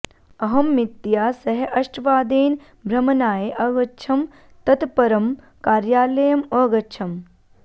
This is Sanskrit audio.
अहं मीतया सह अष्टवादने भ्रमणाय अगच्छम् तत् परं कार्यालयम् अगच्छम्